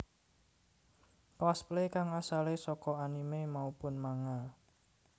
Cosplay kang asale saka anime maupun manga